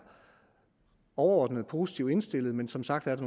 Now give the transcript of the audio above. overordnet positiv indstillet men som sagt er